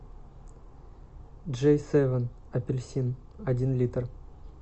джей севен апельсин один литр